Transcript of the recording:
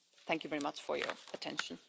Thank you very much for your attention.